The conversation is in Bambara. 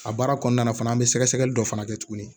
A baara kɔnɔna na fana an bɛ sɛgɛsɛgɛli dɔ fana kɛ tuguni